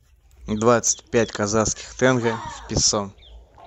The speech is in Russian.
двадцать пять казахских тенге в песо